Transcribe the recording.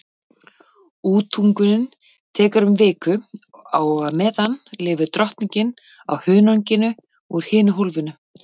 Útungunin tekur um viku og á meðan lifir drottningin á hunanginu úr hinu hólfinu.